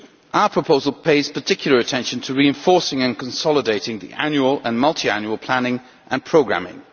Our proposal pays particular attention to reinforcing and consolidating the annual and multiannual planning and programming.